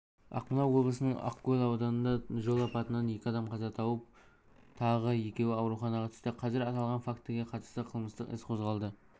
ақмола облысының ақкөл ауданында жол апатынан екі адам қаза тауып тағы екеуі ауруханаға түсті қазір аталған фактіге қатысты қылмыстық іс қозғалды